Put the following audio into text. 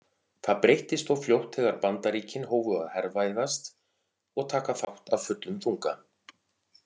Það breyttist þó fljótt þegar Bandaríkin hófu að hervæðast og taka þátt af fullum þunga.